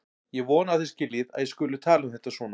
Ég vona að þið skiljið að ég skuli tala um þetta svona.